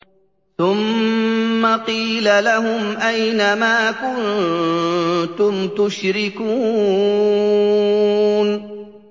ثُمَّ قِيلَ لَهُمْ أَيْنَ مَا كُنتُمْ تُشْرِكُونَ